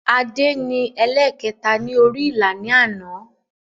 Adé ni ẹlẹ̀kẹta ni orí ìlà ni àná